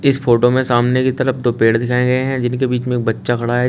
इस फोटो में सामने की तरफ दो पेड़ दिखाएं गए हैं जिनके बीच में बच्चा खड़ा है।